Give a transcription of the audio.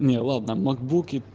не ладно макбуки